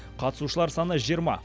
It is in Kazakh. қатысушылар саны жиырма